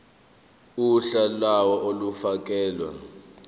uhla lawo olufakelwe